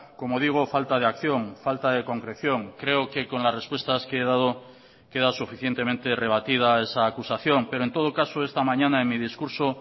como digo falta de acción falta de concreción creo que con las respuestas que he dado queda suficientemente rebatida esa acusación pero en todo caso esta mañana en mi discurso